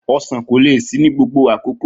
Osan ko le si ni gbogbo akoko.